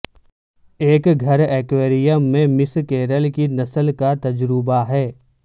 ایک گھر ایکویریم میں مس کیرل کی نسل کا تجربہ ہے